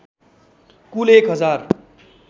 कुल १ हजार